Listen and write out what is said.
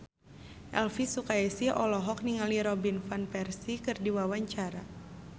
Elvy Sukaesih olohok ningali Robin Van Persie keur diwawancara